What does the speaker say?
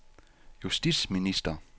justitsminister